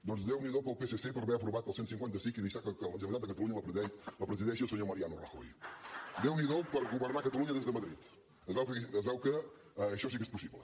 doncs déu n’hi do pel psc per haver aprovat el cent i cinquanta cinc i deixar que la generalitat de catalunya la presideixi el senyor mariano rajoy governar catalunya des de madrid es veu que això sí que és possible